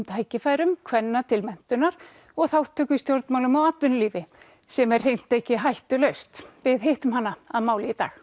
tækifærum kvenna til menntunar og þátttöku í stjórnmálum og atvinnulífi sem er hreint ekki hættulaust við hittum hana að máli í dag